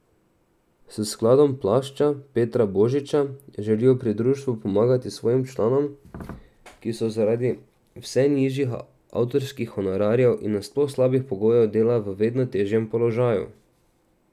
S skladom Plašč Petra Božiča želijo pri društvu pomagati svojim članom, ki so zaradi vse nižjih avtorskih honorarjev in nasploh slabih pogojev dela v vedno težjem položaju.